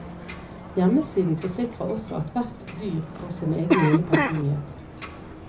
Hjemmesiden forsikrer også at hvert dyr får sin egen lille personlighet.